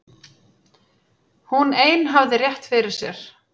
Hún ein hafði rétt fyrir sér.